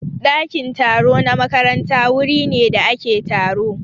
Ɗakin taro na makaranta wuri ne da ake taro.